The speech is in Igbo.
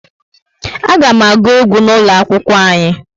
A ga m aguu egwu n'ulo akwụkwọ anyi